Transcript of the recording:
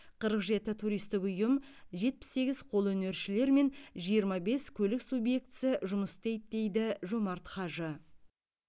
қырық жеті туристік ұйым жетпіс сегіз қолөнершілер мен жиырма бес көлік субъектісі жұмыс істейді дейді жомарт хажы